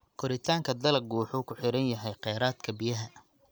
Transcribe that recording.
Koritaanka dalaggu wuxuu ku xiran yahay kheyraadka biyaha.